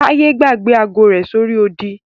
Taye gbàgbé agọ rẹ sí orí odì.